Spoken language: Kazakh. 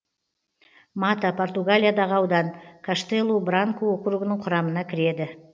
мата португалиядағы аудан каштелу бранку округінің құрамына кіреді